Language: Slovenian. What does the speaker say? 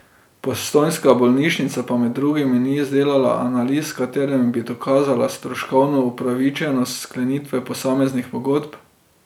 Postojnska bolnišnica pa med drugim ni izdelala analiz, s katerimi bi dokazala stroškovno upravičenost sklenitve posameznih pogodb.